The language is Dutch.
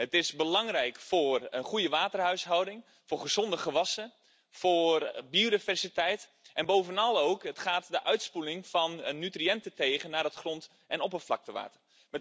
Het is belangrijk voor een goede waterhuishouding, voor gezonde gewassen, voor biodiversiteit en bovenal ook gaat het de uitspoeling van nutriënten tegen naar het grond en oppervlaktewater.